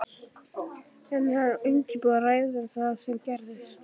Er hann að undirbúa ræðu um það sem gerðist?